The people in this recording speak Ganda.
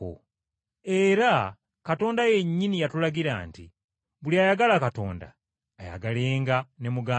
Era Katonda yennyini yatulagira nti, “Buli ayagala Katonda ayagalenga ne muganda we.”